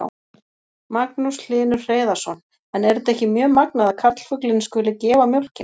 Magnús Hlynur Hreiðarsson: En er þetta ekki mjög magnað að karlfuglinn skuli gefa mjólkina?